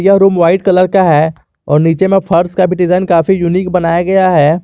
Room white colour का है और नीचे में फर्श का भी डिजाइन काफी यूनिक बनाया गया है।